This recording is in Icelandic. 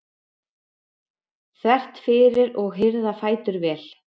þvert fyrir og hirða fætur vel.